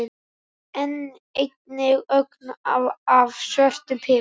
Einnig ögn af svörtum pipar.